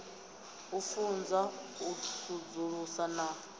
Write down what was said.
u funza u sudzulusa na